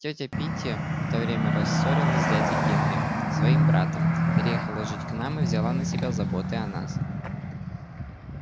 тётя питти в то время рассорилась с дядей генри своим братом переехала жить к нам и взяла на себя заботы о нас